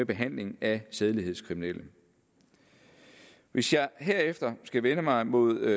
behandling af sædelighedskriminelle hvis jeg herefter skal vende mig mod